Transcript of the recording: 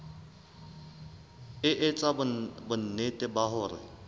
e etsa bonnete ba hore